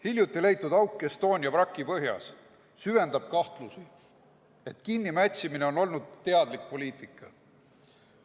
Hiljuti leitud auk Estonia vraki põhjas süvendab kahtlusi, et kinnimätsimine on olnud teadlik poliitika.